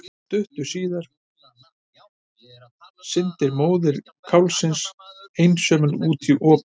Stuttu síðar synti móðir kálfsins einsömul út á opið hafið.